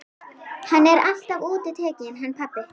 Hann er alltaf útitekinn hann pabbi.